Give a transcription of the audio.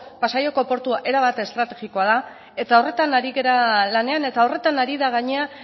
pasaiako portua erabat estrategikoa da eta horretan ari gara lanean eta horretan ari da gainera